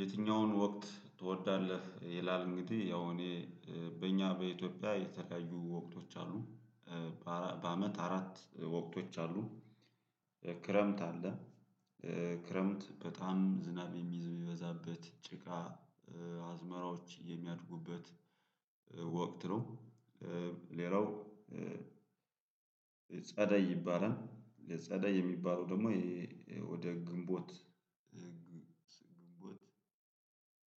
የትኛውን ወቅት ትወዳለህ? ይላል እንግዲህ ያው እኔ በእኛ በኢትዮጵያ የተለያዩ ወቅቶች አሉ። በአመት አራት ወቅቶች አሉ። ክረምት አለ። ክረምት በጣም ዝናብ የሚበዛበት ጭቃ አዝመራዎች የሚያድጉበት ወቅት ነው። ሌላው ጸደይ ይባላል ጸደይ የሚባለው ደግሞ ወደ ግንቦት። ግንቦት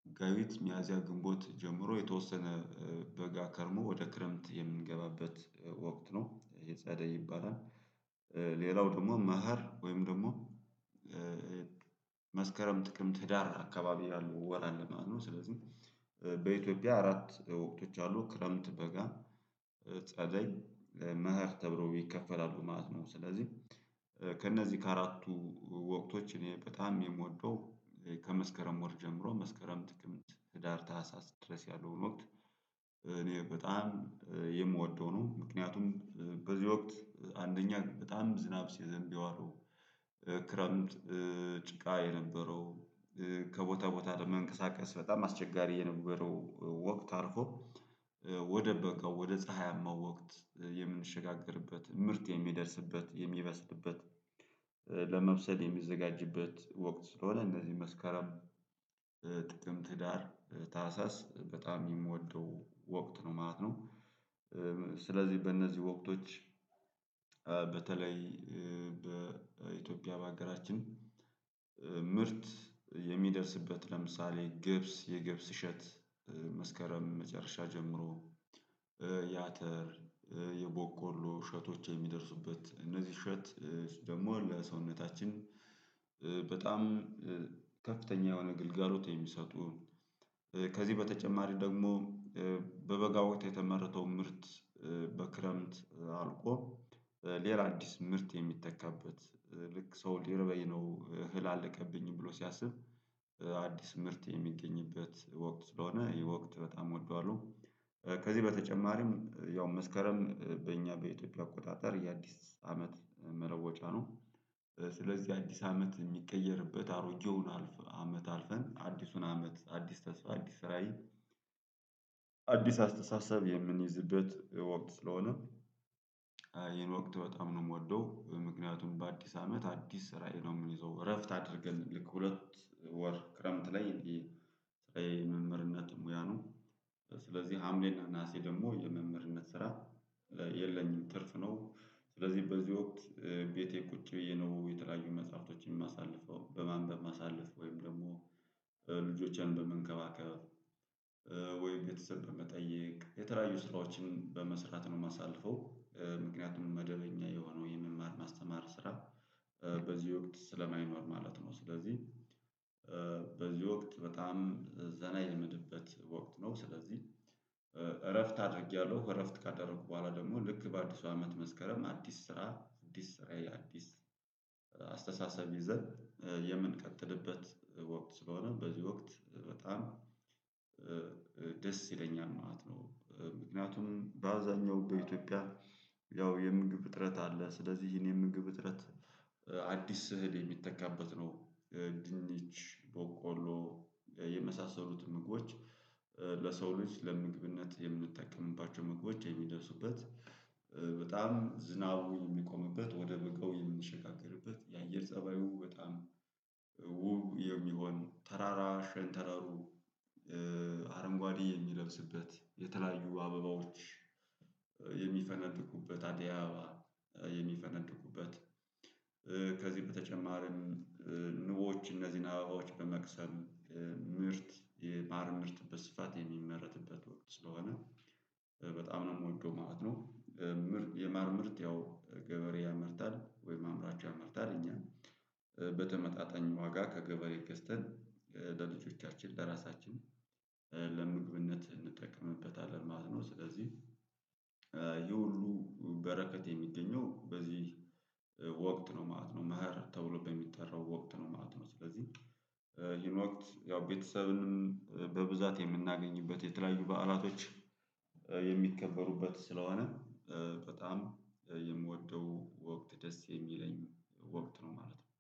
መጋቢት ሚያዝያ ግንቦት ጀምሮ የተወሰነ በጋ ከርሞ ወደ ክረምት የምንገባበት ወቅት ነው የጸደይ ይባላል። ሌላው ደግሞ መኸር ወይም ደግሞ መስከረም ጥቅምት ህዳር አካባቢ ያለው ወር አለ ማለት ነው። ስለዚህ በኢትዮጵያ አራት ወቅቶች አሉ ክረምት በጋ ጸደይ መኸር ተብሎ ይከፈላሉ ማለት ነው። ስለዚህ ከእነዚህ ከአራቱ ወቅቶች እኔ በጣም የምወደው ከመስከረም ወር ጀምሮ መስከረም ጥቅምት ህዳር ታህሳስ ድረስ ያለውን ወቅት እኔ በጣም የምወደው ነው። ምክንያቱም በዚህ ወቅት አንደኛ በጣም ዝናብ ሲዘንብ የዋለው ክረምት ጭቃ የነበረው ከቦታ ቦታ መንቀሳቀስ በጣም አስቸጋሪ የነበረው ወቅት አርፎ ወደ በጋው ወደ ፀሀያማው ወቅት የምንሸጋገርበት ምርት የሚደርስበት የሚበስልበት። ለመብሰል የሚዘጋጅበት ወቅት ስለሆነ እነዚህ መስከረም ጥቅምት ህዳር ታህሳስ በጣም የምወደው ወቅት ነው ማለት ነው። ስለዚህ በእነዚህ ወቅቶች። በተለይ በኢትዮጵያ በሀገራችን ምርት የሚደርስበት ለምሳሌ ግብጽ የግብጽ እሸት መስከረም መጨረሻ ጀምሮ ያተር የቦቆሎ እሸቶች የሚደርሱበት እነዚህ እሸት ደግሞ ሁሉ የሰውነታችን በጣም ከፍተኛ የሆነ ግልጋሎት የሚሰጡ። ከዚህ በተጨማሪ ደግሞ በበጋ ወቅት የተመረተው ምርት በክረምት አልቆ ሌላ አዲስ ምርት የሚተካበት ልክ ሰው ሊርበይ ነው እህል አለቀብኝ ብሎ ሲያስብ አዲስ ምርት የሚገኝበት ወቅት ስለሆነ ወቅት በጣም እወደዋለሁ። ከዚህ በተጨማሪም ያው መስከረም በእኛ በኢትዮጵያ አቆጣጠር የአዲስ አመት መለወጫ ነው። ስለዚህ አዲስ አመት የሚቀየርበት አሮጌውን አመት አልፈን አዲሱን አመት አዲስ ተስፋ አዲስ ራዕዬ አዲስ አስተሳሰብ የምንይዝበት ወቅት ስለሆነ። ይሄን ወቅት በጣም ነው የምወደው ምክንያቱም በአዲስ አመት አዲስ ራዕይ ነው የምንይዘው እረፍት አድርገን ልክ ሁለት ወር ክረምት ላይ። ስራዬ መምህርነት ሙያ ነው። ስለዚህ ሀምሌና ነሀሴ ደግሞ የመምህርነት ስራ የለኝም ትርፍ ነው። ስለዚህ በዚህ ወቅት ቤቴ ቁጭ ብዬ ነው የተለያዩ መጽሐፍቶችን የማሳልፈው በማንበብ ማሳለፍ ወይም ደግሞ ልጆችን በመንከባከብ ወይም ቤተሰብ በመጠየቅ የተለያዩ ስራዎችን በመስራት ነው የማሳልፈው። ምክንያቱም መደበኛ የሆነው የመማር ማስተማር ስራ በዚህ ወቅት ስለማይኖር ማለት ነው። ስለዚህ በዚህ ወቅት በጣም ዘና የምልበት ወቅት ነው። ስለዚህ እረፍት አድርጌያለሁ ከእረፍት ካደረኩ በኋላ ደግሞ ልክ በአዲሱ አመት መስከረም አዲስ ስራ አዲስ ስራ አዲስ አስተሳሰብ ይዘን የምንቀጥልበት ወቅት ስለሆነ በዚህ ወቅት በጣም ደስ ይለኛል ማለት ነው። ምክንያቱም በአብዛኛው በኢትዮጵያ ያው የምግብ እጥረት አለ ስለዚህ ይህን የምግብ እጥረት አዲስ እህል የሚተካበት ነው። ድንች ቦቆሎ የመሳሰሉትን ምግቦች ለሰው ልጅ ለምግብነት የምንጠቀምባቸው መግቦች የሚደርሱበት። በጣም ዝናቡ የሚቆምበት ወደ በጋው የምንሸጋገርበት የአየር ፀባዩ በጣም ውብ የሚሆን ተራራ ሸንተራሩ አረንጓዴ የሚለብስበት የተለያዩ አበባዎች የሚፈነድቁበት አደይ አበባ የሚፈነድኩበት። ከዚህ በተጨማርም ንቦች እነዚህን አበባዎች በመቅሰም ምርት የማር ምርት በስፋት የሚመረትበት ወቅት ስለሆነ በጣም ነው የምወደው ማለት ነው። ምርት የማር ምርት ያው ገበሬ ያመርታል ወይም አምራች ያመርታል እኛ ነን በተመጣጣኝ ዋጋ ከገበሬ ገዝተን ለልጆቻችን ለራሳችን ለምግብነት እንጠቀምበታለን ማለት ነው። ስለዚህ ይህ ሁሉ በረከት የሚገኘው በዚህ ወቅት ነው ማለት ነው። መኸር ተብሎ በሚጠራው ወቅት ነው ማለት ነው። ስለዚህ ይህን ወቅት ያው ቤተሰብንም በብዛት የምናገኝበት የተለያዩ በዓላቶች የሚከበሩበት ስለሆነ በጣም የምወደው ወቅት ደስ የሚለኝ ወቅት ነው ማለት ነው።